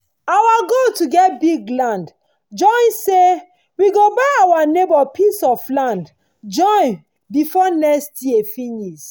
our goal to get big land join say we go buy our neighbour pieces of land join befor next year finis